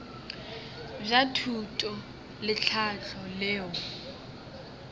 bja thuto le tlhahlo leo